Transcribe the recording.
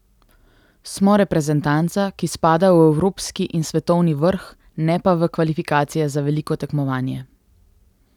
Smo reprezentanca, ki spada v evropski in svetovni vrh, ne pa v kvalifikacije za veliko tekmovanje.